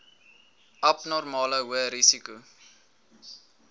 abnormale hoë risiko